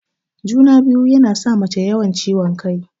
Juna-biyu yana sa mace yawan ciwon kai.